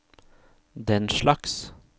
denslags